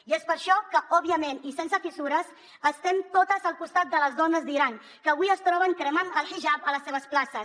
i és per això que òbviament i sense fissures estem totes al costat de les dones de l’iran que avui es troben cremant el hijab a les seves places